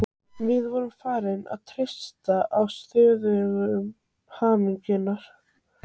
Við vorum farin að þreytast á stöðugum hamaganginum.